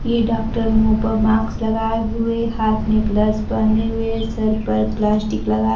ये डॉक्टर मुंह पर मास्क लगाए हुए हाथ में ग्लव्स पहने हुए सर पर प्लास्टिक लगा --